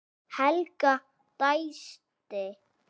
Helga dæsti.